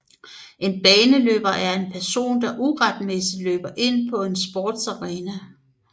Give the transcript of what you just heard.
En baneløber er en person der uretmæssigt løber ind på en sportsarena